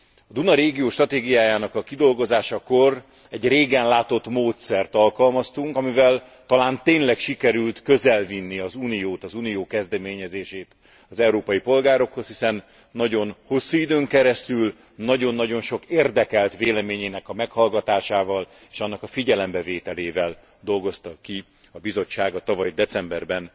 A Duna régió stratégiájának a kidolgozásakor egy régen látott módszert alkalmaztunk, amivel talán tényleg sikerült közel vinni az Uniót, az Unió kezdeményezését az európai polgárokhoz, hiszen nagyon hosszú időn keresztül nagyon nagyon sok érdekelt véleményének a meghallgatásával és annak a figyelembevételével dolgozta ki a Bizottság a tavaly decemberben